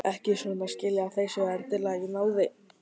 Ekki svo að skilja að þeir séu endilega í náðinni.